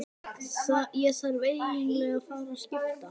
Ég þarf eiginlega að fara að skipta.